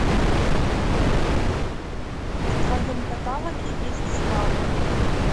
в твоем каталоге есть слава